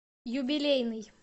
юбилейный